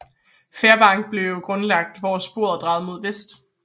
Fairbank blev grundlagt hvor sporet drejede mod vest